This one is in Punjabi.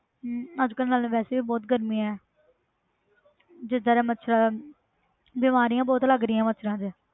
ਹਮ ਅੱਜ ਕੱਲ੍ਹ ਨਾਲੇ ਵੈਸੇ ਵੀ ਬਹੁਤ ਗਰਮੀ ਹੈ ਜਿੱਦਾਂ ਦੇ ਮੱਛਰ ਬਿਮਾਰੀਆਂ ਬਹੁਤ ਲੱਗ ਰਹੀਆਂ ਮੱਛਰਾਂ ਤੋਂ